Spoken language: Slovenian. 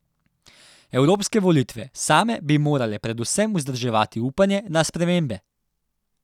Evropske volitve same bi morale predvsem vzdrževati upanje na spremembe.